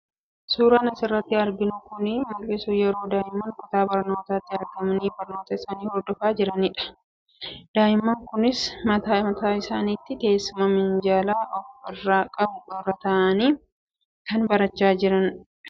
Suuraan as irratti arginu kun kan mul'isu yeroo daa'imman kutaa barnootaatti argamanii barnoota isaanii hordofaa jiranii dha. Daa'imman kunis mata mataa isaaniitti teessuma minjaala of irraa qabu irra taa'anii barachaa jiru.